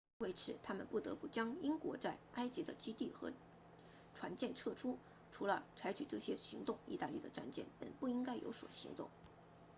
为此他们不得不将英国在埃及的基地和船舰撤出除了采取这些行动意大利的战舰本不应该有所行动